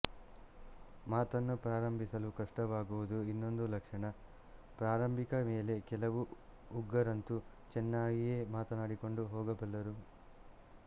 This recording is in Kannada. ಮಾತನ್ನು ಪ್ರಾರಂಭಿಸಲು ಕಷ್ಟವಾಗುವುದು ಇನ್ನೊಂದು ಲಕ್ಷಣ ಪ್ರಾರಂಭಿಸಿದ ಮೇಲೆ ಕೆಲವು ಉಗ್ಗರಂತೂ ಚೆನ್ನಾಗಿಯೇ ಮಾತನಾಡಿಕೊಂಡು ಹೋಗಬಲ್ಲರು